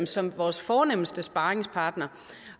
som vores fornemste sparringspartnere